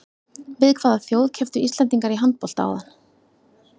Við hvaða þjóð kepptu Íslendingar í handbolta áðan?